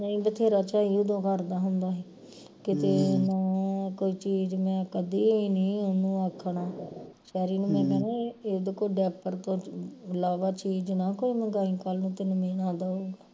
ਨਹੀਂ ਬਥੇਰਾ ਝਾਈ ਉਦੋਂ ਕਰਦਾ ਹੁੰਦਾ ਹੈ ਕਿਤੇ ਉਹਨੂੰ ਕੋਈ ਚੀਜ ਮੈਂ ਕਦੀ ਨੀ ਉਹਨੂੰ ਆਖਣਾ ਨੂੰ ਮੈਂ ਕਹਿਣਾ ਇਹਦੇ ਕੋਲ diaper ਤੋਂ ਇਲਾਵਾ ਚੀਜ ਨਾ ਕੋਈ ਮੰਗਾਈ ਕੱਲ ਨੂੰ ਤੈਨੂੰ ਮਿਹਣਾ ਦਓ